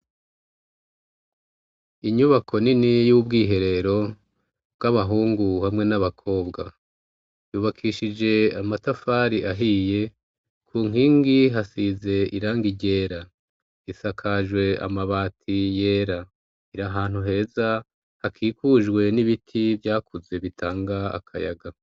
Inyubako nini y'ubwiherero bw'abahungu hamwe n'abakobwa yubakishije amatafari ahiye ku nkingi hasize iranga igera isakajwe amabati yera iri hantu heza hakikujwe n'ibiti vyakuze bitanga akayaga.